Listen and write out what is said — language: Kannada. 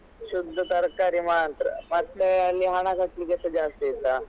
ಶುದ್ಧ ತರಕಾರಿ ಮಾತ್ರ ಮತ್ತೆ ಅಲ್ಲಿ ಹಣ ಖರ್ಚಿಗೇಸ ಜಾಸ್ತಿ ಇತ್ತಾ.